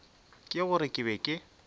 ke gore ke be ke